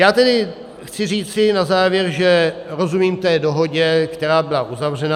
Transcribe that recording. Já tedy chci říci na závěr, že rozumím té dohodě, která byla uzavřena.